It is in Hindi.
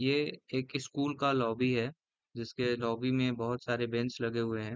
यह एक स्कूल का लॉबी है जिसके लॉबी में बहुत सारे बेंच लगे हुए है।